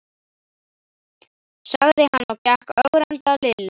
sagði hann og gekk ögrandi að Lillu.